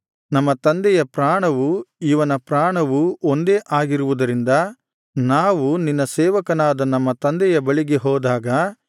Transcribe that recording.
ನಮ್ಮ ತಂದೆಯ ಪ್ರಾಣವು ಇವನ ಪ್ರಾಣವು ಒಂದೇ ಆಗಿರುವುದರಿಂದ ನಾವು ನಿನ್ನ ಸೇವಕನಾದ ನಮ್ಮ ತಂದೆಯ ಬಳಿಗೆ ಹೋದಾಗ